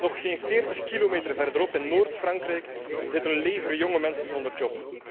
Nog geen 40 kilometer verderop in Noord Frankrijk zit een leger jonge mensen zonder werk.